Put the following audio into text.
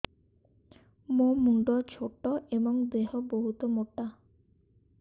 ମୋ ମୁଣ୍ଡ ଛୋଟ ଏଵଂ ଦେହ ବହୁତ ମୋଟା